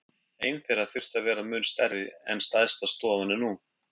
Ein þeirra þyrfti að vera mun stærri en stærsta stofan er nú.